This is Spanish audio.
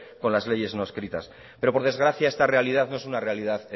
con las leyes no escritas pero por desgracia esta realidad no es una realidad